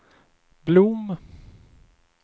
Blom